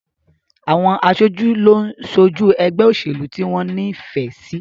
Àwọn aṣojú ló ń ṣojú ẹgbẹ́ òṣèlú tí wọ́n ní ìfẹ́ sí